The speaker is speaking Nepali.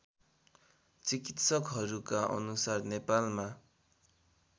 चिकित्सकहरूका अनुसार नेपालमा